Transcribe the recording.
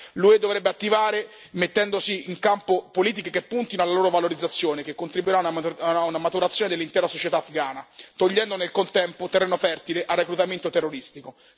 L'UE dovrebbe attivarsi mettendo in campo politiche che puntino alla loro valorizzazione, che contribuiranno a una maturazione dell'intera società afghana, togliendo, nel contempo, terreno fertile al reclutamento terroristico.